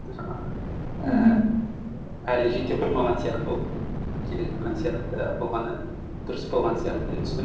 жаңағы әлі жете қоймаған сияқты болып келе жатқан сияқты болғаны дұрыс болған сияқты деп түсіндім